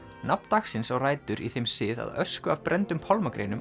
nafn dagsins á rætur í þeim sið að ösku af brenndum